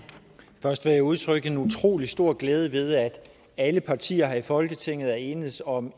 først vil jeg udtrykke en utrolig stor glæde ved at alle partier her i folketinget er enedes om